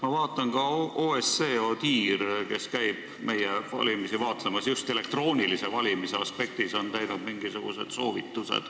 Ma vaatan, et ka OSCE ODIHR, kes käib meie valimisi vaatlemas just elektrooniliste valimiste aspektis, on andnud mingisuguseid soovitusi.